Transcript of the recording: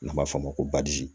N'an b'a f'o ma ko badi